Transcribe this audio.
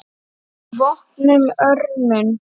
VOPNUÐ ÖRMUM